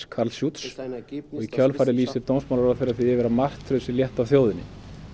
Karl Schütz og í kjölfarið lýsir dómsmálaráðherra því yfir að martröð sé létt af þjóðinni